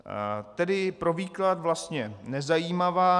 Tedy pro výklad vlastně nezajímavá.